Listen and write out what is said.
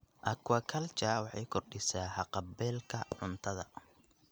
Aquaculture waxay kordhisaa haqab-beelka cuntada.